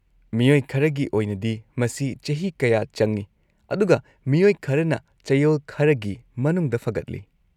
ꯃꯤꯑꯣꯏ ꯈꯔꯒꯤ ꯑꯣꯏꯅꯗꯤ, ꯃꯁꯤ ꯆꯍꯤ ꯀꯌꯥ ꯆꯪꯏ, ꯑꯗꯨꯒ ꯃꯤꯑꯣꯏ ꯈꯔꯅ ꯆꯌꯣꯜ ꯈꯔꯒꯤ ꯃꯅꯨꯡꯗ ꯐꯒꯠꯂꯤ꯫